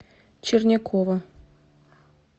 чернякова